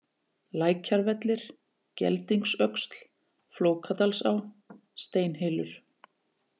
Lækjarvellir, Geldingsöxl, Flókadalsá, Steinhylur